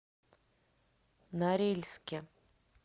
норильске